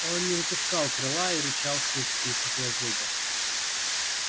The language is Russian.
он не выпускал крыла и рычал сквозь стиснутые зубы